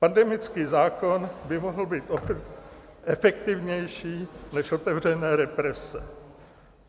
Pandemický zákon by mohl být efektivnější než otevřené represe.